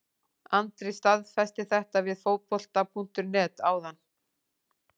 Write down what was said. Andri staðfesti þetta við Fótbolta.net áðan.